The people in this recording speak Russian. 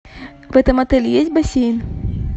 в этом отеле есть бассейн